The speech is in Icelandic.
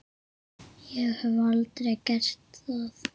Ég hef aldrei gert það.